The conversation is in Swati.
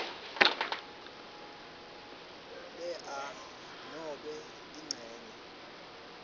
lea nobe incenye